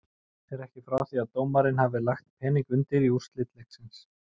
Er ekki frá því að dómarinn hafi lagt pening undir á úrslit leiksins.